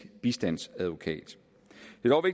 bistandsadvokat